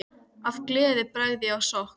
Af gleði ég bregð á skokk.